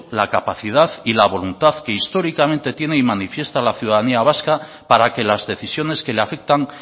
la capacidad y la voluntad que históricamente tiene y manifiesta la ciudadanía vasca para que las decisiones que le afectan